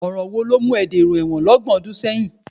Ọ̀ràn wo ló mú ẹ dèrò ẹ̀wọ̀n lọ́gbọ̀n ọdún sẹ́yìn?